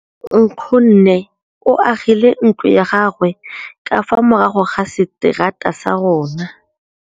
Nkgonne o agile ntlo ya gagwe ka fa morago ga seterata sa rona.